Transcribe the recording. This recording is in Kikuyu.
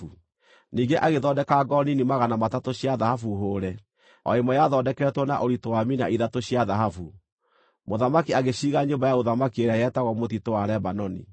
Ningĩ agĩthondeka ngo nini magana matatũ cia thahabu hũũre; o ĩmwe yathondeketwo na ũritũ wa mina ithatũ cia thahabu. Mũthamaki agĩciiga Nyũmba ya Ũthamaki ĩrĩa yetagwo Mũtitũ wa Lebanoni.